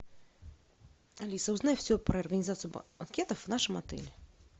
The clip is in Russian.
алиса узнай все про организацию банкетов в нашем отеле